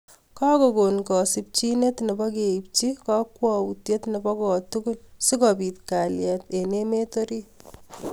Kakokoon kasimchineet nepo keipchi kakwautiet nebo kotugul sikopiit kaliet eng emet orit